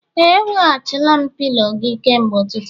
Ee, eweghachila m pilo gị kemgbe ụtụtụ